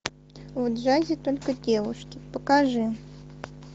в джазе только девушки покажи